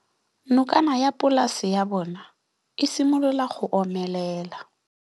Nokana ya polase ya bona, e simolola go omelela.